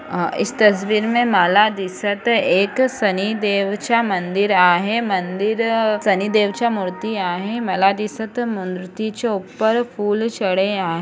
आ इस तस्वीर मे माला दिसत एक शनि देवच्या मन्दिर आहे मंदिर शनि देवच्या मूर्ति आहे माला दिसत मूर्तिच्या ऊपर फूल छड़े आ --